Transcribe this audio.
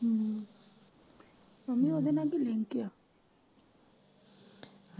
ਹਮ ਤਾਂਵੀ ਓਦੇ ਨਾਲ ਕੀ ਲਿੰਕ ਆ।